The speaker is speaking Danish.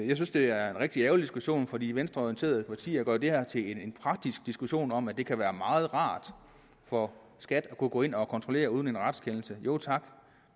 jeg synes det er en rigtig ærgerlig diskussion for de venstreorienterede partier gør det her til en praktisk diskussion om at det kan være meget rart for skat at kunne gå ind og kontrollere uden en retskendelse jo tak